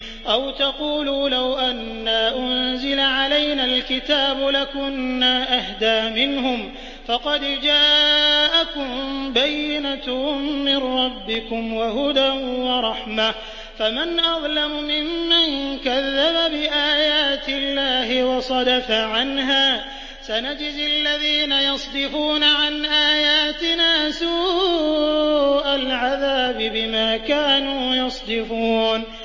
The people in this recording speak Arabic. أَوْ تَقُولُوا لَوْ أَنَّا أُنزِلَ عَلَيْنَا الْكِتَابُ لَكُنَّا أَهْدَىٰ مِنْهُمْ ۚ فَقَدْ جَاءَكُم بَيِّنَةٌ مِّن رَّبِّكُمْ وَهُدًى وَرَحْمَةٌ ۚ فَمَنْ أَظْلَمُ مِمَّن كَذَّبَ بِآيَاتِ اللَّهِ وَصَدَفَ عَنْهَا ۗ سَنَجْزِي الَّذِينَ يَصْدِفُونَ عَنْ آيَاتِنَا سُوءَ الْعَذَابِ بِمَا كَانُوا يَصْدِفُونَ